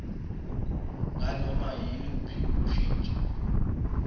nganoma yiluphi ushintsho